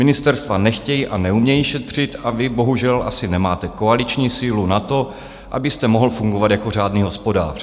Ministerstva nechtějí a neumějí šetřit a vy bohužel asi nemáte koaliční sílu na to, abyste mohl fungovat jako řádný hospodář.